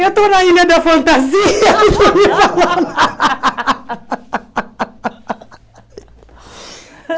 Eu estou na ilha da fantasia.